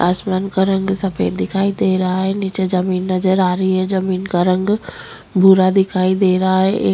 आसमान का रंग सफ़ेद दिखाई देरहा है निचे जमीं नजर आ रही है जमीं का रंग भूरा दिखाई दे रहा है।